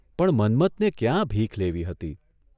પણ મન્મથને ક્યાં ભીખ લેવી હતી?